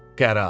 Qərarı.